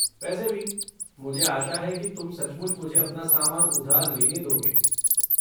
वैसे भी, मुझे आशा है कि तुम सचमुच मुझे अपना सामान उधार लेने दोगे।